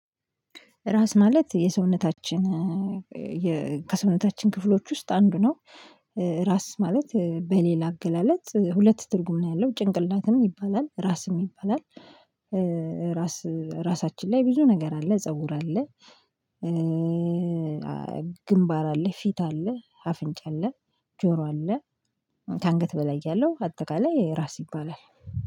ራስ ማለት የሰውነታችን ከሰውነታችን ክፍሎች ውስጥ አንዱ ነው። ራስ ማለት በሌላ አገላለጽ ሁለት ትርጉም ነው ያለው ጭንቅላትም ይባላል ራስም ይባላል። ራሳችን ላይ ብዙ ነገር አለ ፀጉር አለ። ግንባር አለ ፊት አለ አፍንጭ አለ። ጆሮ አለህ። ከአንገት በላይ ያለው አጠቃላይ ራስ ይባላል